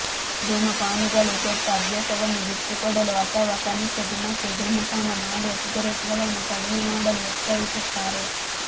ಧೂಮಪಾನಿಗಳು ಕೆಟ್ಟ ಅಭ್ಯಾಸವನ್ನು ಬಿಟ್ಟುಕೊಡಲು ಅಥವಾ ಕನಿಷ್ಠ ದಿನಕ್ಕೆ ಧೂಮಪಾನ ಮಾಡುವ ಸಿಗರೆಟ್ಗಳನ್ನು ಕಡಿಮೆ ಮಾಡಲು ಒತ್ತಾಯಿಸುತ್ತಾರೆ